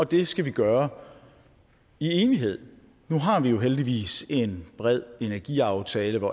det skal vi gøre i enighed nu har vi heldigvis en bred energiaftale